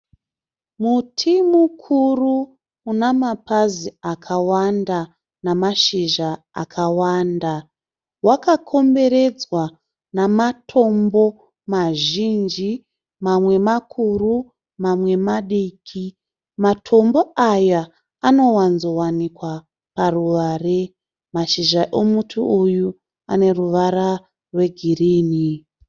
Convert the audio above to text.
Muti mukuru una mapazi akawanda nemashizha akawanda, wakakomberedzwa nematombo mazhinji mamwe makuru mamwe madiki, matombo aya anowanzowanikwa paruware . Mashizha emuti uyu ane ruvara rwegreen.